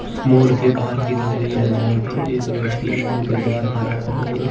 mall के बाहर की तस्वीर है जहां पर एक व्यक्ति मॉल के बाहर खड़ा है और--